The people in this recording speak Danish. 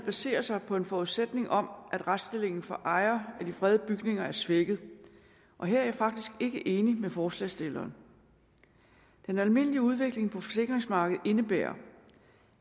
baserer sig på en forudsætning om at retsstillingen for ejere af de fredede bygninger er svækket og her er jeg faktisk ikke enig med forslagsstillerne den almindelige udvikling på forsikringsmarkedet indebærer